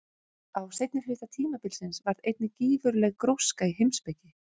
Á seinni hluta tímabilsins varð einnig gífurleg gróska í heimspeki.